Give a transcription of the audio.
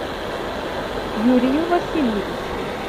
юрию васильевичу